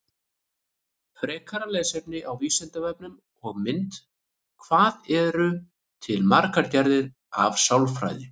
Frekara lesefni á Vísindavefnum og mynd Hvað eru til margar gerðir af sálfræði?